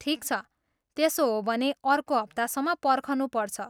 ठिक छ, त्यसो हो भने, अर्को हप्तासम्म पर्खनु पर्छ।